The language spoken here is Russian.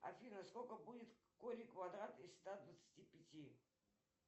афина сколько будет корень квадратный из ста двадцати пяти